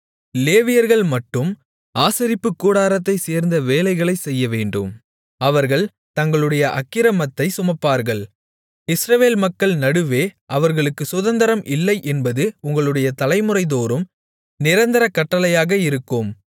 லேவியர்கள் மட்டும் ஆசரிப்புக் கூடாரத்தைச்சேர்ந்த வேலைகளைச் செய்யவேண்டும் அவர்கள் தங்களுடைய அக்கிரமத்தைச் சுமப்பார்கள் இஸ்ரவேல் மக்கள் நடுவே அவர்களுக்குச் சுதந்தரம் இல்லை என்பது உங்களுடைய தலைமுறைதோறும் நிரந்தர கட்டளையாக இருக்கும்